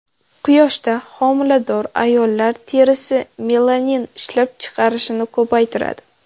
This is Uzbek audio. Quyoshda homilador ayollar terisi melanin ishlab chiqarishni ko‘paytiradi.